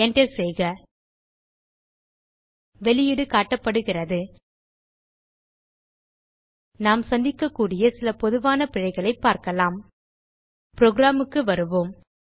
enter செய்க வெளியீடு காட்டப்படுகிறது நாம் சந்திக்ககூடிய சில பொதுவான பிழைகளைப் பார்க்கலாம் புரோகிராம் க்கு வருவோம்